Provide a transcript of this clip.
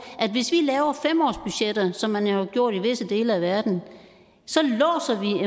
at hvis vi laver fem årsbudgetter som man har gjort i visse dele af verden så